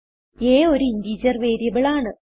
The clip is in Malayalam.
a ഒരു ഇന്റഗർ വേരിയബിൾ ആണ്